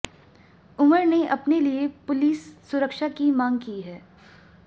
उमर ने अपने लिए पुलिस सुरक्षा की मांग की है